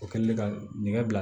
O kɛlen ka nɛgɛ bila